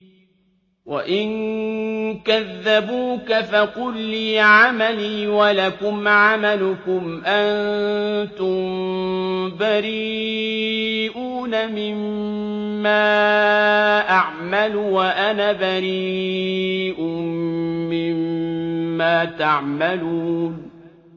وَإِن كَذَّبُوكَ فَقُل لِّي عَمَلِي وَلَكُمْ عَمَلُكُمْ ۖ أَنتُم بَرِيئُونَ مِمَّا أَعْمَلُ وَأَنَا بَرِيءٌ مِّمَّا تَعْمَلُونَ